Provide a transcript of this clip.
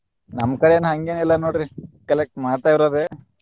ನಮ್ಮ್ ಕಡೆ ಏನ್ ಹಂಗೆನಿಲ್ಲಾ ನೋಡ್ರಿ collect ಮಾಡ್ತಾ ಇರೋದೆ.